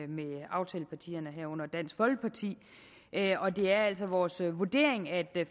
med aftalepartierne herunder dansk folkeparti og det er altså vores vurdering at